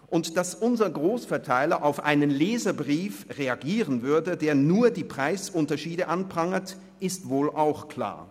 Und dass unsere Grossverteiler auf einen Leserbrief reagieren würden, der nur die Preisunterschiede anprangert, ist wohl auch klar.